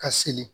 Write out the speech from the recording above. Ka seli